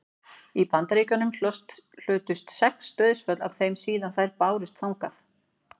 í bandaríkjunum hafa hlotist sex dauðsföll af þeim síðan þær bárust þangað